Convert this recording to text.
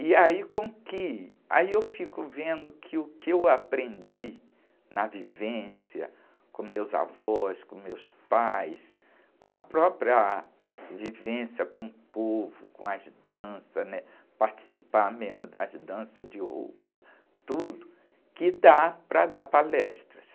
E aí com que, aí eu fico vendo que o que eu aprendi na vivência com meus avós, com meus pais, com a própria vivência com o povo, com as danças, né? Participar mesmo das danças de ouro, tudo, que dá para dar palestras.